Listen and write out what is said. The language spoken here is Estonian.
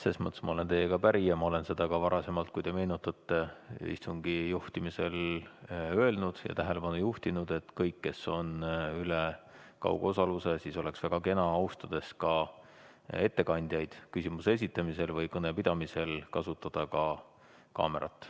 Selles mõttes ma olen teiega päri ja ma olen seda ka varasemalt, kui te meenutate, istungi juhtimisel öelnud ja sellele tähelepanu juhtinud, et oleks väga kena, kui kõik, kes osalevad kaugosaluse teel, austades ka ettekandjaid küsimuse esitamisel või kõnepidamisel, kasutaksid kaamerat.